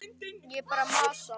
Ég er bara að masa.